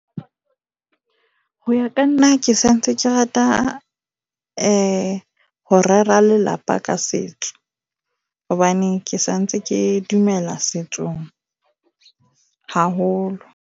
Ho ya ka nna ke sa ntse ke rata ho rera lelapa ka setso hobane ke sa ntse ke dumela setsong haholo.